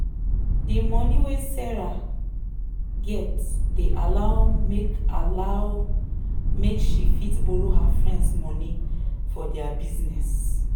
the moni wey sarah get dey allow make allow make she fit borrow her friends moni for their business.